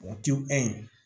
O ti ye